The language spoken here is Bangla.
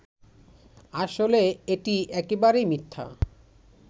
আসলে এটি একেবারেই মিথ্যা